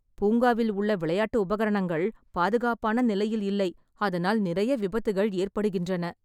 பூங்காவில் உள்ள விளையாட்டு உபகரணங்களின் பாதுகாப்பான நிலையில் இல்லை. அதனால், நிறைய விபத்துகள் ஏற்படுகின்றன.